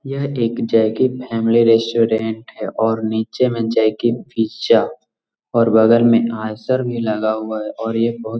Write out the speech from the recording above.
यह एक family restaurant है और नीचे में पिज़्ज़ा और बगल मे भी लगा हुआ है और ये बहुत --